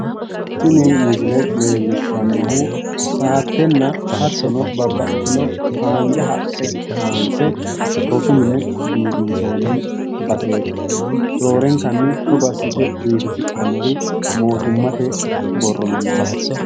Tini misile leellishshannohu saattenna hattono babbaxxitino haanja haqqe kayinse rosu mine biifinsoonni baseeti roorenkanni togo assite biifisidhannori mootummate borro minnaati